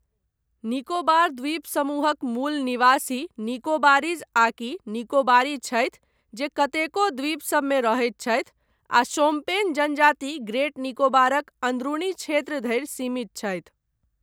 निकोबार द्वीप समूहक मूल निवासी निकोबारीज आकि निकोबारी छथि जे कतेको द्वीपसभमे रहैत छथि, आ शोम्पेन जनजाति ग्रेट निकोबारक अंदरूनी क्षेत्र धरि सीमित छथि।